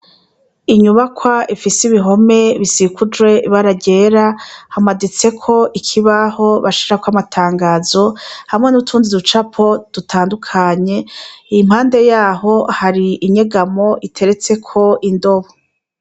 Inyubakwa ifise ibihome bisikujwe ibara ryera hamaditseko ikibaho bashirako amatangazo hamwe n'utundi ducapo dutandukanye impande yaho hari inyegamo iteretseko indobo.